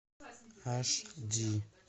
аш ди